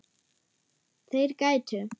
Þeir gætu.